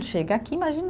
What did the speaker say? Chega aqui, imagina